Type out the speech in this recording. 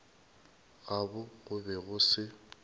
gabo go be go se